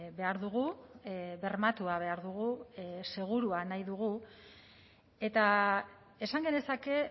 behar dugu bermatua behar dugu segurua nahi dugu eta esan genezake